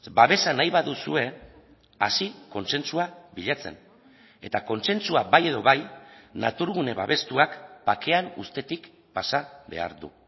babesa nahi baduzue hasi kontsentsua bilatzen eta kontsentsua bai edo bai naturgune babestuak bakean uztetik pasa behar du